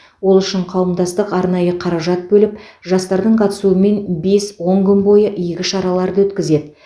ол үшін қауымдастық арнайы қаражат бөліп жастардың қатысуымен бес он күн бойы игі шараларды өткізеді